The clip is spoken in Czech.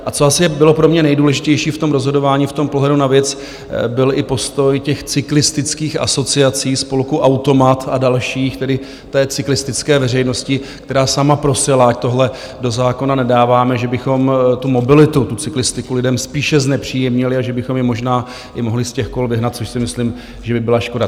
A co asi bylo pro mě nejdůležitější v tom rozhodování, v tom pohledu na věc, byl i postoj těch cyklistických asociací, spolku AutoMat a dalších, tedy té cyklistické veřejnosti, která sama prosila, ať tohle do zákona nedáváme, že bychom tu mobilitu, tu cyklistiku lidem spíše znepříjemnili a že bychom je možná i mohli z těch kol vyhnat, což si myslím, že by byla škoda.